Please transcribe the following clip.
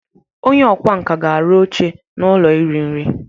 Onye ọkwá nkà ga-arụ oche n'ụlọ iri nri.